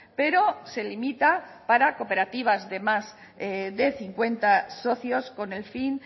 pero se limita para cooperativas de más de cincuenta socios con el fin